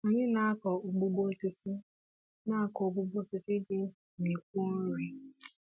Anyị na-akụ ụgbụgbọ osisi na-akụ ụgbụgbọ osisi iji mekwuo nri